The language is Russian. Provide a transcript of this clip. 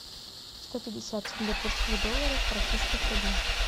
сто пятьдесят сингапурских долларов в российских рублях